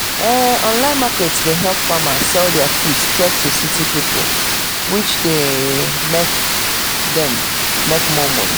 online market dey help farmers sell their food straight to city pipo which de make dem make more money